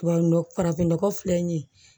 Tubabu nɔgɔ farafinnɔgɔ filɛ nin ye